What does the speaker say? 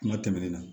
Kuma tɛmɛnen na